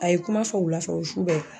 A ye kuma fɔ wulafɛ o su bɛɛ.